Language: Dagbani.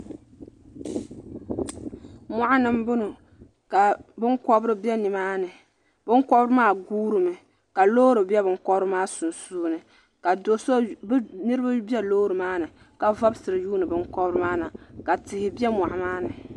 Mɔɣuni n bɔŋɔ ka bini kɔbiri bɛ ni maa ni bini kɔbiri maa guurimi ka loori bɛ bini kɔbiri maa sunsuuni ka niriba bɛ loori maa ni ka vobisira yuuni bini kɔbiri maa na ka tihi bɛ mɔɣu maa ni.